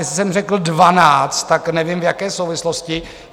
Jestli jsem řekl 12, tak nevím, v jaké souvislosti.